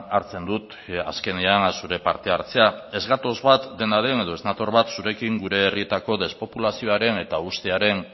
hartzen dut azkenean zure parte hartzea ez gatoz bat dena den edo ez nator bat zurekin gure jarrietako despopulazioaren eta hustearen